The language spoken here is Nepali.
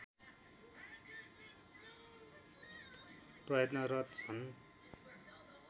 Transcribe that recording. प्रयत्नरत छन्